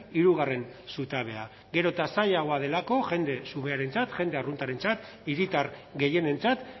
hirugarren zutabea gero eta zailagoa delako jende xumearentzat jende arruntarentzat hiritar gehienentzat